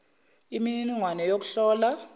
imi niningwane youkuhlola